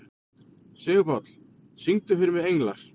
Sigurpáll, syngdu fyrir mig „Englar“.